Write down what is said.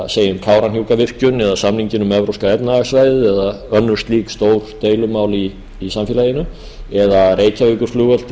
segjum kárahnjúkavirkjun eða samninginn um evrópska efnahagssvæðið eða önnur slík stór deilumál í samfélaginu eða reykjavíkurflugvöll til